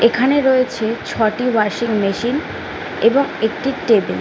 এখানে রয়েছে ছটি ওয়াশিং মেশিন এবং একটি টেবিল ।